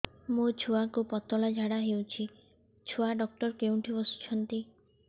ମୋ ଛୁଆକୁ ପତଳା ଝାଡ଼ା ହେଉଛି ଛୁଆ ଡକ୍ଟର କେଉଁଠି ବସୁଛନ୍ତି